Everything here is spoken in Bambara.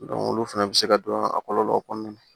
olu fɛnɛ bɛ se ka don a kɔlɔlɔ kɔnɔna na